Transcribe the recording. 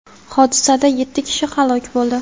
Hodisada yetti kishi halok bo‘ldi.